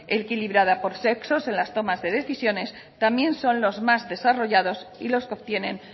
equilibrado por sexos en las tomas de decisiones también son los más desarrollados y los que obtienen